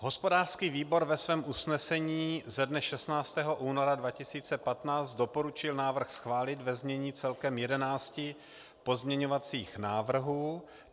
Hospodářský výbor ve svém usnesení ze dne 16. února 2015 doporučil návrh schválit ve znění celkem 11 pozměňovacích návrhů.